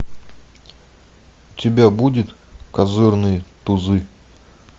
у тебя будет козырные тузы